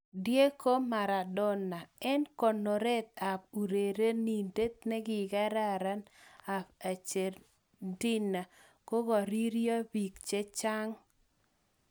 Diego Maradona: Eng' konoret ab urerenindet ne kararan ab Argentina kokoririo bik chechang'.